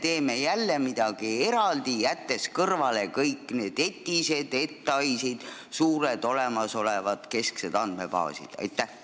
Kas me teeme jälle midagi eraldi, jättes kõrvale kõik need ETIS-ed ja ETAIS-id, suured olemasolevad kesksed andmebaasid?